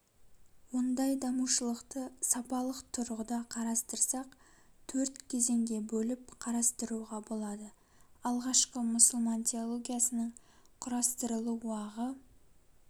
ондай дамушылықты сапалык тұрғыда қарастырсақ төрт кезеңге бөліп қарастыруға болады алғашкы мұсылман теологиясының құрастырылу уағы